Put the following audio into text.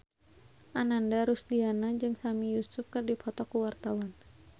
Ananda Rusdiana jeung Sami Yusuf keur dipoto ku wartawan